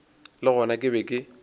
le gona ke be ke